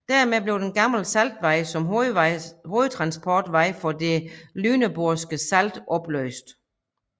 Dermed blev den gamle saltvej som hovedtransportvej for det Lüneborgske salt opløst